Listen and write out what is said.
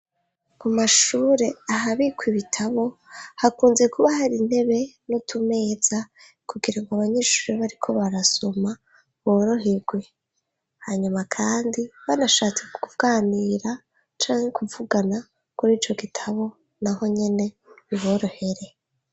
ku mashure ahabikwa ibitabo hakunze kuba hari intebe nutumeza kugira ngw’abanyeshuri bariko barasoma boroherwe hanyuma kandi banashatse kuganira canke kuvugana kuri ico gitabo naho nyene biborohere